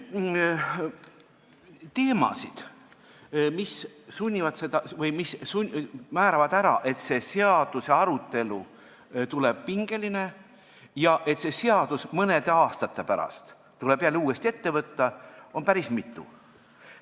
Teemasid, mis määravad ära, et arutelu tuleb pingeline ja et see seadus tuleb mõne aasta pärast jälle uuesti ette võtta, on päris mitu.